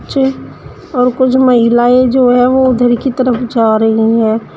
चे और कुछ महिलाएं जो हैं वो उधर की तरफ जा रही हैं।